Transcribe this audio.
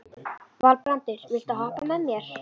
Valbrandur, viltu hoppa með mér?